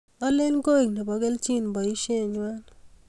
Alen koek nebo kelchin boishengwai